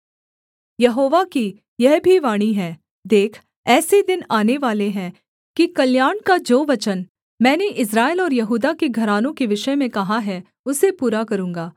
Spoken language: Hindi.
यहोवा की यह भी वाणी है देख ऐसे दिन आनेवाले हैं कि कल्याण का जो वचन मैंने इस्राएल और यहूदा के घरानों के विषय में कहा है उसे पूरा करूँगा